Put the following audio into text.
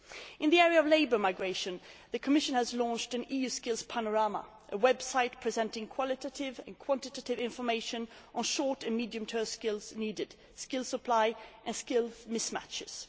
In the area of labour migration, the Commission has launched an EU Skills Panorama, a website presenting qualitative and quantitative information on the short and medium term skills needed, skills supply and skills mismatches.